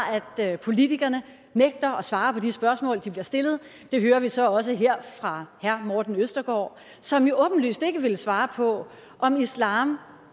at politikerne nægter at svare på de spørgsmål de bliver stillet og det hører vi så også her fra herre morten østergaard som jo åbenlyst ikke vil svare på om islam